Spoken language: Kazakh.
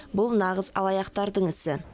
бұл нағыз алаяқтардың ісі